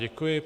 Děkuji.